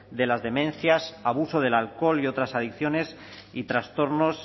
de las demencias abuso del alcohol y otras adicciones y trastornos